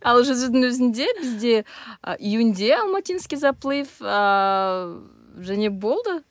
ал жүзудің өзінде бізде а июньде алматинский заплыв ааа және болды